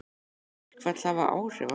Mun þetta verkfall hafa áhrif á þig?